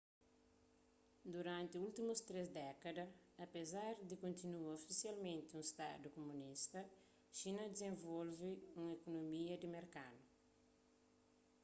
duranti últimus três dékada apezar di kontinua ofisialmenti un stadu kumunista xina dizenvolve un ikunomia di merkadu